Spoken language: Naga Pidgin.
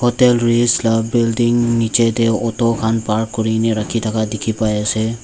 ekta louis la building nichete auto khan park kurina rakhipa dikhipai ase.